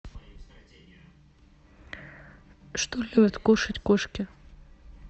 что любят кушать кошки